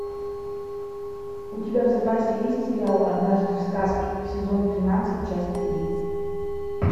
у тебя в запасе есть сериал однажды в сказке сезон тринадцать часть три